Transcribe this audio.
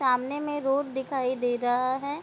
सामने में रोड दिखाई दे रहा है।